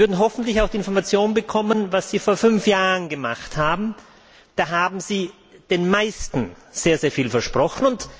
Sie würden hoffentlich auch die Information bekommen, was Sie vor fünf Jahren gemacht haben. Da haben Sie den meisten sehr, sehr viel versprochen.